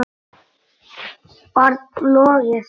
barn: Logi Þór.